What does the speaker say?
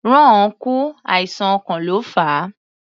Ron kú, àìsàn ọkàn ló fà á.